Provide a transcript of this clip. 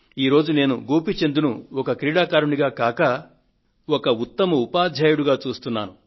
ఈ రోజు నేను గోపీచంద్ ను ఒక క్రీడాకారుడిగా గాక ఒక ఉత్తమ ఉపాధ్యాయుడుగా చూస్తున్నాను